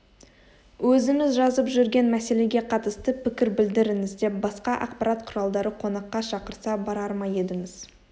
өзіңіз жазып жүрген мәселеге қатысты пікір білдіріңіз деп басқа ақпарат құралдары қонаққа шақырса барар ма едіңіз